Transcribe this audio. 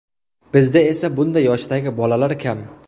Bizda esa bunday yoshdagi bolalar kam.